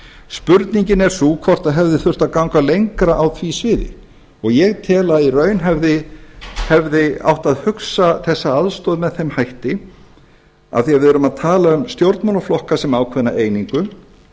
spurningin er sú hvort það hefði þurft að ganga lengra á því sviði og ég tel að í raun hefði átt að hugsa þessa aðstoð með þeim hætti af því að við erum að tala um stjórnmálaflokka sem ákveðna einingu